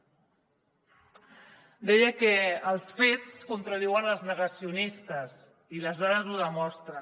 deia que els fets contradiuen els negacionistes i les dades ho demostren